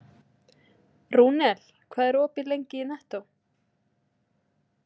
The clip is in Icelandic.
Rúnel, hvað er opið lengi í Nettó?